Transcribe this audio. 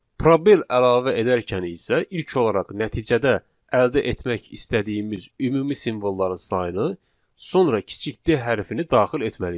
Probel əlavə edərkən isə ilk olaraq nəticədə əldə etmək istədiyimiz ümumi simvolların sayını, sonra kiçik D hərfini daxil etməliyik.